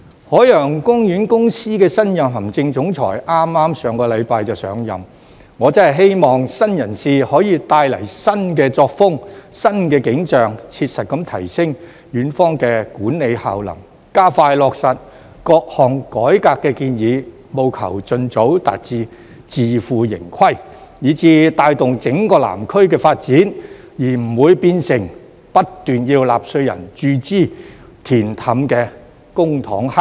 海洋公園公司的新任行政總裁剛在上星期上任，我真的希望新人事可以帶來新作風、新景象，切實地提升園方的管理效能，加快落實各項改革建議，務求盡早達至自負盈虧，以至帶動整個南區的發展，而不會變成不斷要納稅人注資、"填氹"的公帑黑洞。